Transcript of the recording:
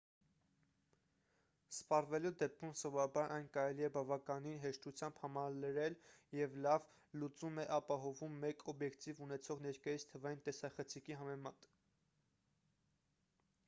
սպառվելու դեպքում սովորաբար այն կարելի է բավականին հեշտությամբ համալրել և լավ լուծում է ապահովում մեկ օբյեկտիվ ունեցող ներկայիս թվային տեսախցիկի համեմատ